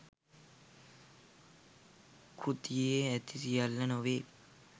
කෘතියේ ඇති සියල්ල නොවේ